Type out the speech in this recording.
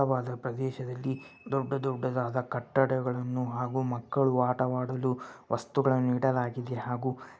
ಅಗಲವಾದ ಪ್ರದೇಶದಲ್ಲಿ ದೊಡ್ಡ ದೊಡ್ಡದಾದ ಕಟ್ಟಡಗಳನ್ನು ಹಾಗೂ ಮಕ್ಕಳು ಆಟವಾಡಲು ವಸ್ತುಗಳನ್ನು ಇಡಲಾಗಿದೆ ಹಾಗು --